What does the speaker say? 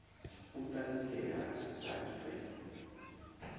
u ṱanzilelwa sa i re